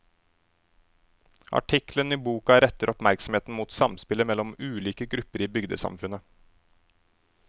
Artiklene i boka retter oppmerksomheten mot samspillet mellom ulike grupper i bygdesamfunnet.